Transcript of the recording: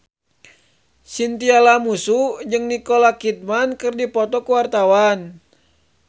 Chintya Lamusu jeung Nicole Kidman keur dipoto ku wartawan